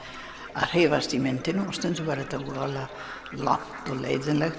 að hreyfast í myndinni stundum var þetta voðalega langt og leiðinlegt